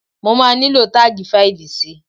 Mo máa nílò táàgì fáìlì si.